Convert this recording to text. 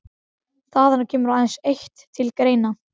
Það kemur aðeins eitt til greina.